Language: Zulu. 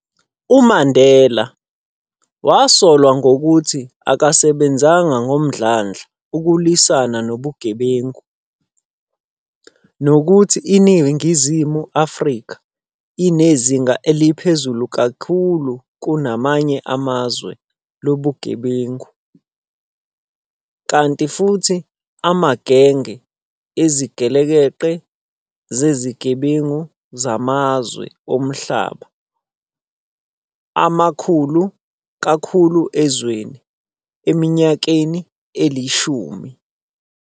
UMandela wasolwa ngokuthi akasebenzanga ngomdlandla ukulwisana nobugebengu, nokuthi iNingizimu Afrika, inezinga eliphezulu kakhulu kunamanye amazwe lobugebengu, kanti futhi amagenge ezigelekeqe zezigebengu zamazwe omhlaba akhulu kakhulu ezweni, eminyakeni elishumi.